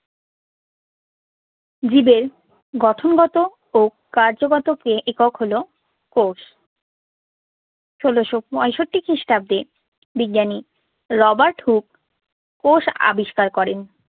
জীবের গঠনগত ও কার্যগত কে একক হলো কোষ। ষোলশ পঁয়ষট্টি খ্রিস্টাব্দে রবার্ট হুক কোষ আবিষ্কার করেন।